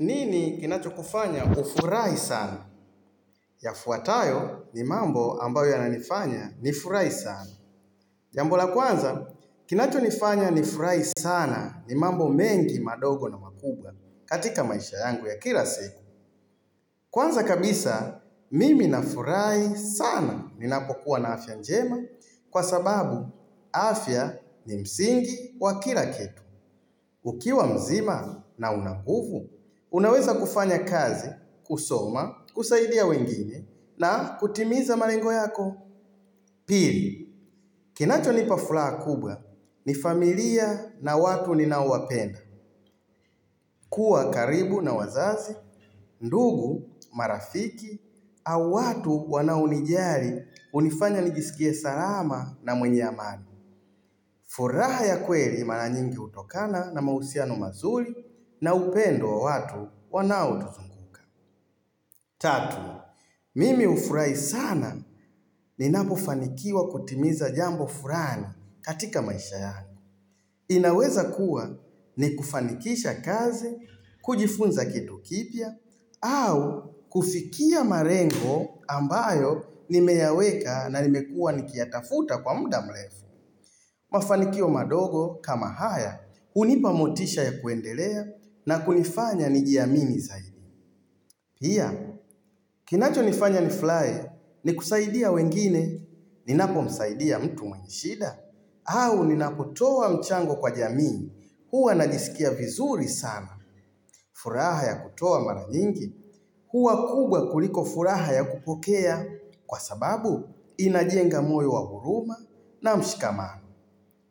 Nini kinacho kufanya ufurahi sana? Yafuatayo ni mambo ambayo yananifanya nifurahi sana. Jambo la kwanza, kinachonifanya nifurahi sana ni mambo mengi madogo na makubwa katika maisha yangu ya kila siku. Kwanza kabisa, mimi nafurahi sana ninapokuwa na afya njema kwa sababu afya ni msingi wa kila kitu. Ukiwa mzima na una nguvu, unaweza kufanya kazi, kusoma, kusaidia wengine na kutimiza malengo yako. Pili, kinachonipa furaha kubwa ni familia na watu ninao wapenda. Kuwa karibu na wazazi, ndugu, marafiki, au watu wanaonijali hunifanya nijisikie salama na mwenye amani. Furaha ya kweli mara nyingi hutokana na mahusiano mazuri na upendo wa watu wanao tuzunguka. Tatu, mimi hufurahi sana ninapo fanikiwa kutimiza jambo fulani katika maisha yangu. Inaweza kuwa ni kufanikisha kazi, kujifunza kitu kipya, au kufikia malengo ambayo nimeyaweka na nimekua nikiyatafuta kwa muda mrefu. Mafanikio madogo kama haya hunipa motisha ya kuendelea na kunifanya nijiamini zaidi. Pia, kinachonifanya nifurahi ni kusaidia wengine ninapomsaidia mtu mwenye shida au ninapotoa mchango kwa jamii huwa najisikia vizuri sana. Furaha ya kutoa mara nyingi huwa kubwa kuliko furaha ya kupokea kwa sababu inajenga moyo wa huruma na mshikamano.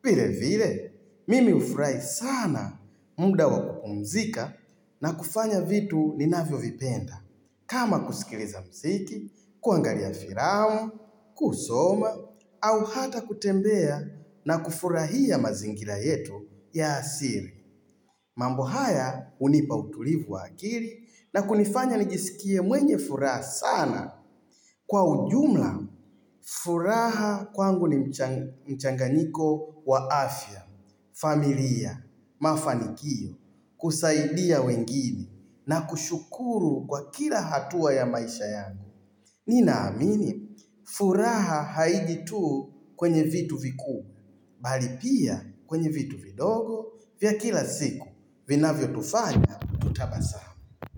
Vile vile, mimi hufurahi sana muda wa kupumzika na kufanya vitu ninavyo vipenda. Kama kusikiliza mziki, kuangalia filama, kusoma, au hata kutembea na kufurahia mazingira yetu ya asili. Mambo haya hunipa utulivu wa akili na kunifanya nijisikie mwenye furaha sana. Kwa ujumla, furaha kwangu ni mchanganyiko wa afya. Familia, mafanikio, kusaidia wengine na kushukuru kwa kila hatua ya maisha yangu Nina amini, furaha haiji tu kwenye vitu vikuu Bali pia kwenye vitu vidogo, vya kila siku, vinavyo tufanya, tutabasamu.